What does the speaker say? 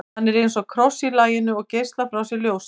hann er eins og kross í laginu og geislar frá sér ljósi